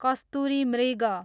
कस्तुरी मृग